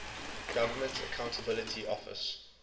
government accountability office